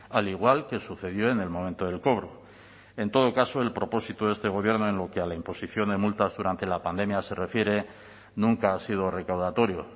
al igual que sucedió en el momento del cobro en todo caso el propósito de este gobierno en lo que a la imposición de multas durante la pandemia se refiere nunca ha sido recaudatorio